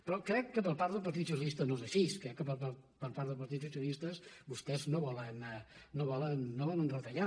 però crec que per part del partit socialista no és ai·xí crec que per part del partit socialista vostès no volen retallar